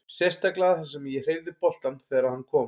Sérstaklega þar sem að ég hreyfði boltann þegar að hann kom.